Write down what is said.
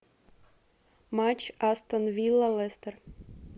матч астон вилла лестер